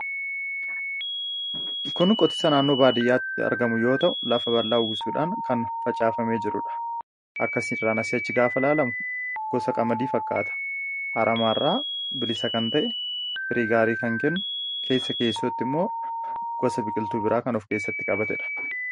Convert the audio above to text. kun qotisa naannoo baadiyyaatti argamu yoota' lafa ballaa ugusuudhaan kan facaafamee jiruudha akkasiiraanasiachi gaafa laalam gosa qamadii fakkaata haramaa irraa bilisa kan ta'e firiigaarii kan kennu keessa keessootti immoo gosa biqiltuu biraa kan of keessatti qabatee dha